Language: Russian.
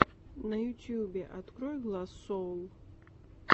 на ютьюбе открой гласс соул